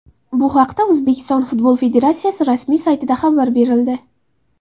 Bu haqda O‘zbekiston Futbol Federatsiyasi rasmiy saytida xabar berildi .